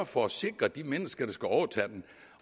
for at sikre de mennesker der skal overtage dem